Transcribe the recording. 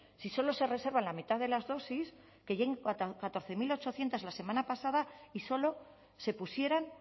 si solo se reserva la mitad de las dosis que lleguen catorce mil ochocientos la semana pasada y solo se pusieran